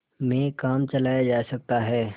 में काम चलाया जा सकता है